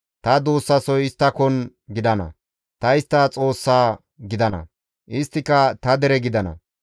Ta duussasoy isttakon gidana; ta istta Xoossa gidana; isttika ta dere gidana.